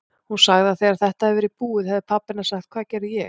Hún sagði að þegar þetta hefði verið búið hefði pabbi hennar sagt: Hvað gerði ég?